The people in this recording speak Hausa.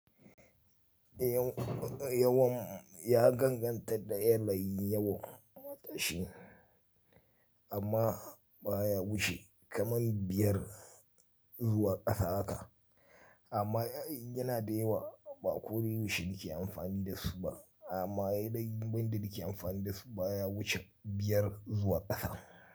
Yawan ya danganta da yanayin yawan shi, amma ba ya wuce kaman biyar zuwa ƙasa haka. Amma yana da yawa ba ko da yaushe nske amfani da su ba, amma yanayin yanda nake amfani da su ba ya wuce biyar zuwa ƙasa.